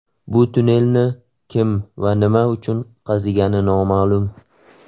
Bu tunnelni kim va nima uchun qazigani noma’lum.